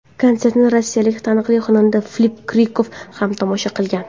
Konsertni rossiyalik taniqli xonanda Filipp Kirkorov ham tomosha qilgan.